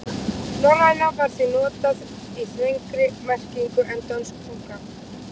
Norræna var því notað í þrengri merkingu en dönsk tunga.